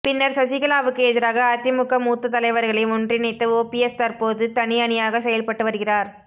பின்னர் சசிகலாவுக்கு எதிராக அதிமுக மூத்த தலைவர்களை ஒன்றிணைத்த ஓபிஎஸ் தற்போது தனி அணியாக செயல்பட்டு வருகிறார்